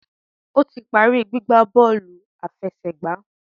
O tí parí gbígbà bóòlù àfẹsẹ̀gbá